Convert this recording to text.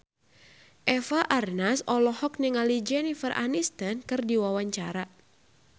Eva Arnaz olohok ningali Jennifer Aniston keur diwawancara